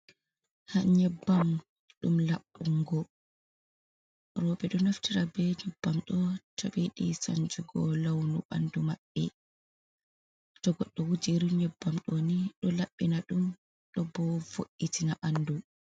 nyebbam ɗum labbungo. Robe do naftira be nyebbam do to biyiidi sanjugo launu bandumabbe. To goddo wuji iri nyebbam do ni do labbina dum do bo vo’itina banɗu.